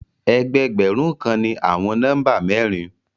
Ẹgbẹ̀ẹgbẹ̀run kàn ni àwọn nọ́mbà mẹ̀rìn.